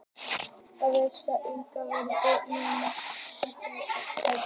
Ég vísa á engan varning nema ég sjái innsigli hans hátignar, sagði Christian háðslega.